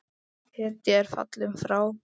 Hetja er fallin frá!